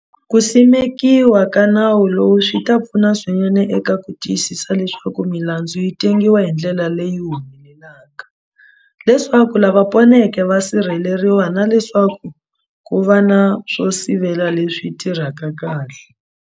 Ku simekiwa ka nawu lowu swi ta pfuna swinene eka ku tiyisisa leswaku milandzu yi tengisiwa hi ndlela leyi humelelaka, leswaku lava poneke va sirheleriwa na leswaku ku va na swo sivela leswi tirhaka kahle.